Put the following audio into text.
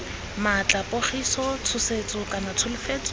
maatla pogiso tshosetso kana tsholofetso